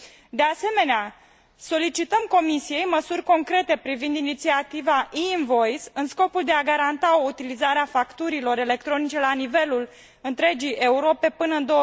De asemenea, solicităm Comisiei măsuri concrete privind inițiativa e Invoice în scopul de a garanta o utilizare a facturilor electronice la nivelul întregii Europe până în